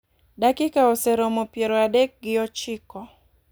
Dakika oseromo piero adek gi ochiko .